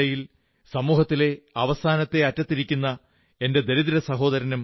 വർഷത്തിനിടയിൽ സമൂഹത്തിലെ അവസാനത്തെ അറ്റത്തിരിക്കുന്ന എന്റെ ദരിദ്ര